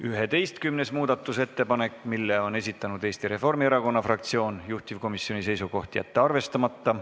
Üheteistkümnenda muudatusettepaneku on esitanud Eesti Reformierakonna fraktsioon, juhtivkomisjoni seisukoht on jätta see arvestamata.